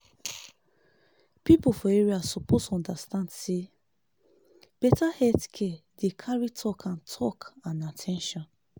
people for area suppose understand say better health care dey carry talk and talk and at ten tion.